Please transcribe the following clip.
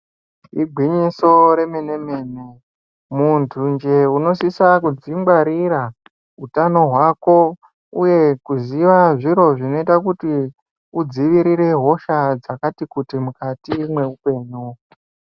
Igwinyiso remenemene muntu njee unosisa kudzingwarira utano hwako uye kuziva zviro zvinoita kuti udzivirire hosha dzakati kuti mukati mweupenyu.